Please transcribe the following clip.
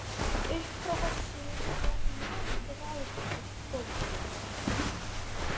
Upp frá þessu var ég gráðugur bókaormur.